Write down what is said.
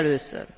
Először.